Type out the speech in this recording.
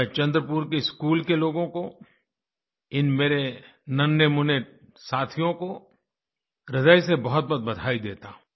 मैं चंद्रपुर के स्कूल के लोगों को इन मेरे नन्हेमुन्हे साथियों को ह्रदय से बहुतबहुत बधाई देता हूँ